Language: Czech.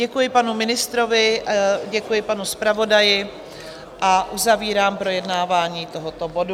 Děkuji panu ministrovi, děkuji panu zpravodaji a uzavírám projednávání tohoto bodu.